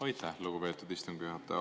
Aitäh, lugupeetud istungi juhataja!